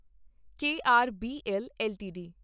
KRBL LTD